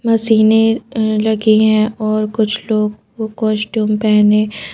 मशीनें अ लगी हैं और कुछ लोग को कॉस्ट्यूम पहने--